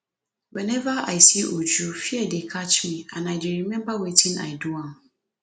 whenever i see uju fear dey catch me and i dey remember wetin i do am